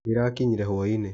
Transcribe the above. Ndĩrakinyire hwa-inĩ